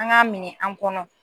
An k'a minɛn an kɔnɔ.